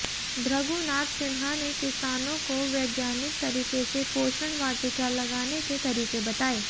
भृगु नाथ सिन्हा ने किसानों को वैज्ञानिक तरीके से पोषण वाटिका लगाने के तरीके बताए